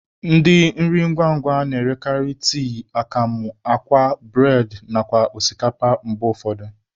Ndị nri ngwa ngwa na-erekarị tii, akamụ, akwa, bụredị nakwa osikapa mgbe ụfọdụ.